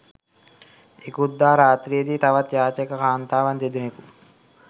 ඉකුත් දා රාත්‍රියේදී තවත් යාචක කාන්තාවන් දෙදෙනකු